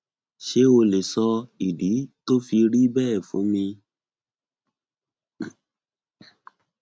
ṣé o lè sọ ìdí tó fi rí bẹẹ fún mi